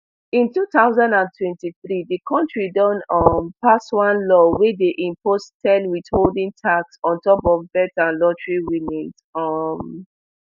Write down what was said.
in two thousand and twenty-three di kontri don um pass one law wey dey impose ten withholding tax on top of bet and lottery winnings um